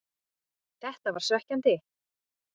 Þetta var svekkjandi,